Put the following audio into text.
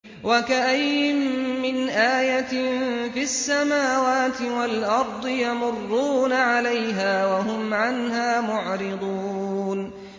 وَكَأَيِّن مِّنْ آيَةٍ فِي السَّمَاوَاتِ وَالْأَرْضِ يَمُرُّونَ عَلَيْهَا وَهُمْ عَنْهَا مُعْرِضُونَ